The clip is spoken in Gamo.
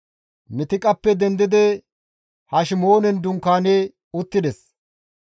Mitiqappe dendidi Hashemoonen dunkaani uttides.